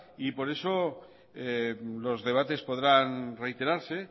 por eso los debates podrán reiterarse